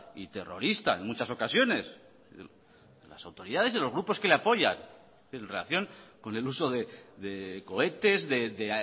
y terrorista en muchas ocasiones las autoridades de los grupos que le apoyan en relación con el uso de cohetes de